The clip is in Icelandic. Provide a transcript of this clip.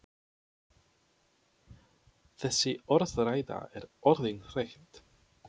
Þessi orðræða er orðin þreytt!